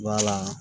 Wala